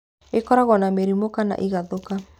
Ĩkoragwo na mĩrimũ kana ĩgathũka.